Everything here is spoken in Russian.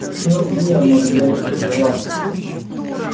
ну где он может быть этот склад